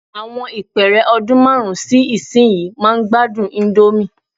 Àwọn ìpẹ́ẹ́rẹ́ ọdún márùn-ún sí ìsinyìí máa gbádùn íńdómì.